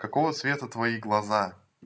какого цвета твои глаза